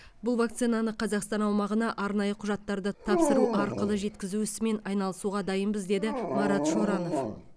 бұл вакцинаны қазақстан аумағына арнайы құжаттарды тапсыру арқылы жеткізу ісімен айналысуға дайынбыз деді марат шоранов